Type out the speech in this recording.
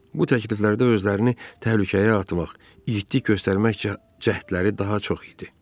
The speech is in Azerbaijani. Bu təkliflərdə özlərini təhlükəyə atmaq, igidlik göstərmək cəhdləri daha çox idi.